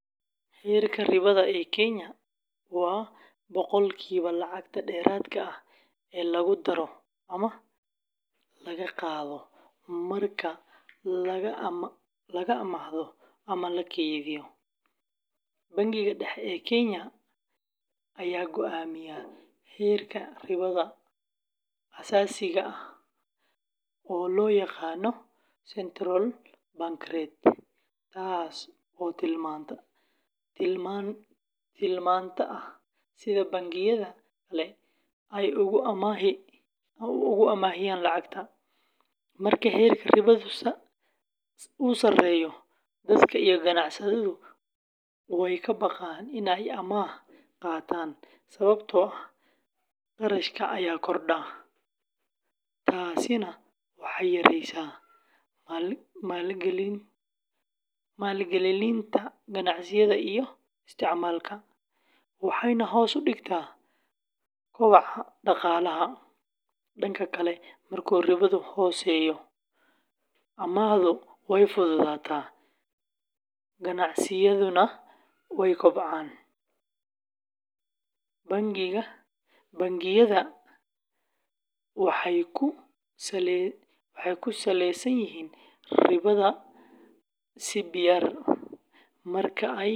Heerka ribada ee Kenya waa boqolkiiba lacagta dheeraadka ah ee lagu daro ama laga qaado marka lacag la amaahdo ama la kaydiyo. Bangiga Dhexe ee Kenya ayaa go’aamiya heerka ribada aasaasiga ah oo loo yaqaan Central Bank Rate, taasoo tilmaanta ah sida bangiyada kale ay ugu amaahiyaan lacag. Marka heerka ribadu sareeyo, dadka iyo ganacsatadu way ka baqaan in ay amaah qaataan sababtoo ah kharashka ayaa kordha. Taasina waxay yareysaa maalgelinta ganacsiga iyo isticmaalka, waxayna hoos u dhigtaa koboca dhaqaalaha. Dhanka kale, marka ribadu hooseyso, amaahdu way fududaataa, ganacsiyaduna way kobcaan. Bangiyada sida waxay ku saleyaan ribada CBR marka ay go’aaminayaan.